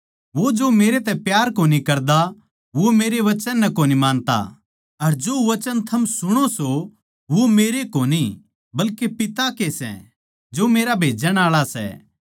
वो जो मेरतै प्यार कोनी करता वो मेरै वचन नै कोनी मानता अर जो वचन थम सुणो सो वो मेरे कोनी बल्के पिता के सै जो मेरा भेजण आळा सै